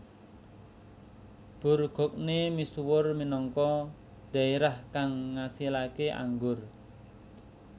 Bourgogne misuwur minangka dhaerah kang ngasilaké anggur